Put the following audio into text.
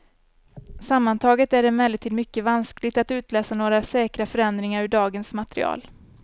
Sammantaget är det emellertid mycket vanskligt att utläsa några säkra förändringar ur dagens material.